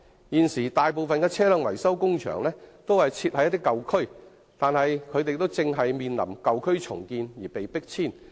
現時，大部分的車輛維修工場均設於舊區，但它們亦正因舊區重建而面臨迫遷。